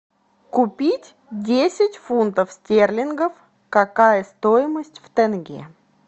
купить десять фунтов стерлингов какая стоимость в тенге